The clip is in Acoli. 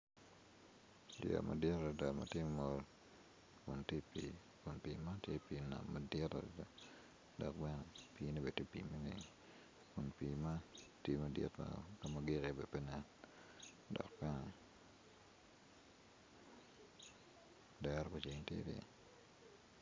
Yeya madit adada matye ongo kun tye i pi kun pi man tye inam madit adada dok bene pi eni bene tye pi maleng kun pi man tye malac ma kama gik i ye bene pe nen dok bene dero me ceng tye ryeny.